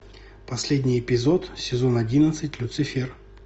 последний эпизод сезон одиннадцать люцифер